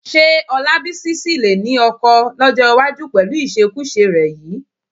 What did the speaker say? Ṣé Ọlábísí lè sì ní ọkọ lọ́jọ́ iwájú pẹ̀lú ìṣekúṣe rẹ yìí?